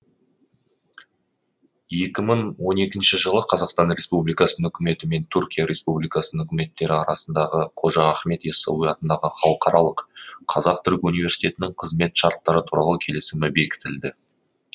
екі мың он екінші жылы қазақстан республикасының үкіметі мен түркия республикасының үкіметтері арасындағы қожа ахмет ясауи атындағы халықаралық қазақ түрік университетінің қызмет шарттары туралы келісімі бекітілді